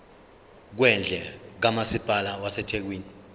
kwendle kamasipala wasethekwini